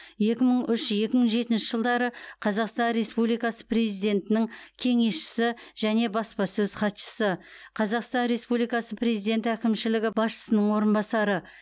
екі мың үш екі мың жетінші жылдары қазақстан республикасы президентінің кеңесшісі және баспасөз хатшысы қазақстан республикасы президенті әкімшілігі басшысының орынбасары